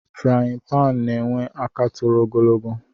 Friyi pan na enwe aka toro ogologo